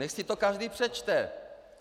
Nechť si to každý přečte!